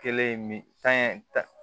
Kelen ye min tan ye tan